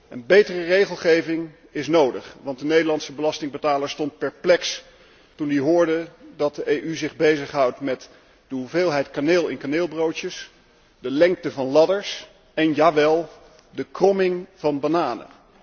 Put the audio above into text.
Een betere regelgeving is nodig, want de Nederlandse belastingbetaler stond perplex toen hij hoorde dat de EU zich bezighoudt met de hoeveelheid kaneel in kaneelbroodjes, de lengte van ladders en jawel de kromming van bananen.